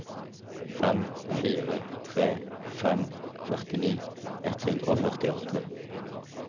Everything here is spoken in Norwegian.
fem fire tre fem førtini ett hundre og førtiåtte